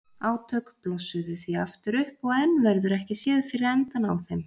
Átök blossuðu því aftur upp og enn verður ekki séð fyrir endann á þeim.